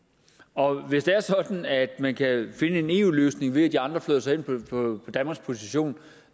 og hvis det er sådan at man kan finde en eu løsning ved at de andre flytter sig hen på danmarks position